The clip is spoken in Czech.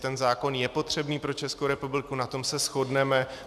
Ten zákon je potřebný pro Českou republiku, na tom se shodneme.